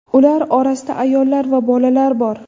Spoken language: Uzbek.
Ular orasida ayollar va bolalar bor.